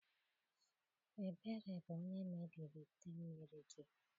Ebere bu onye mebiri ite mmiri gi.